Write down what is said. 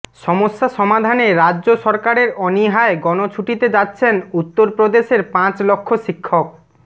সমস্যা সমাধানে রাজ্য সরকারের অনীহায় গণছুটিতে যাচ্ছেন উত্তরপ্রদেশের পাঁচ লক্ষ শিক্ষক